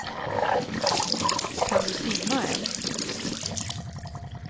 Kan du simma än?